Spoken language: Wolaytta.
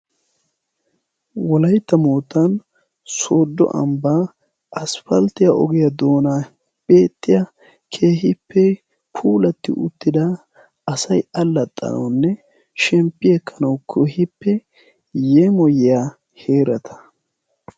wolaytta mootan soodo ambbaa asifalttiya ogiyaa doona peexxiya keehippe puulatti uttida asai allaxxanawunne shemppi ekkanau kehiippe yeemoyyaa heerata.